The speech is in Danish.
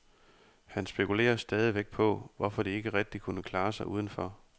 Han spekulerer stadigvæk på, hvorfor de ikke rigtig kunne klare sig udenfor.